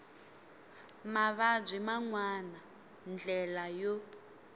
mavabyi man wana ndlela yo